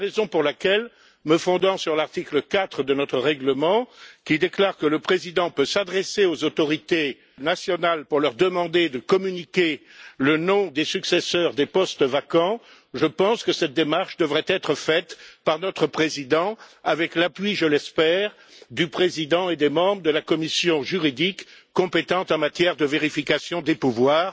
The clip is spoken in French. C'est la raison pour laquelle, me fondant sur l'article 4 de notre règlement, qui dispose que le Président peut s'adresser aux autorités nationales pour leur demander de communiquer le nom des successeurs pour les sièges vacants, je pense que cette démarche devrait être faite par notre Président, avec l'appui, je l'espère, du président et des membres de la commission des affaires juridiques, compétente en matière de vérification des pouvoirs.